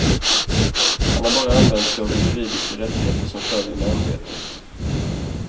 Han har bara använt sig av de juridiska rättigheter som följer med ämbetet.